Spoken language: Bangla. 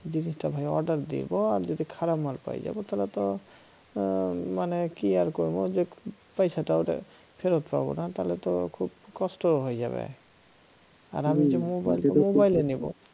জিনিসটা ভাই order দেব আর যদি খারাপ মাল পেয়ে যাই তালে তো আর মানে কি আর করব তো পয়সাটা আর ফেরত পাব না তাহলে তো খুব কষ্ট হয়ে যাবে আর আমি যে মোবাইল নেব